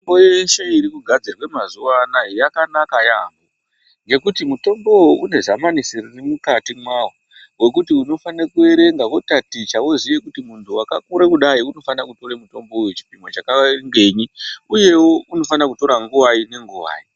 Mitombo yeshe irikugadzirwe mazuwana yakanaka yamho ngekuti mutombowo une zamanisi riri mukati mwawo wekuti unofanire kuerenga wotaticha woziye kuti muntu wakakure kudai unofanire kutore mutombo wechipimo chakangenyi uyewo unofana kutora nguvai nenguwai.